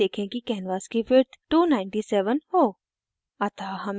उसके लिए देखें कि canvas की विड्थ 297 हो